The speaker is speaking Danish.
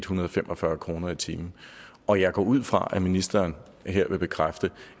hundrede og fem og fyrre kroner i timen og jeg går ud fra at ministeren her vil bekræfte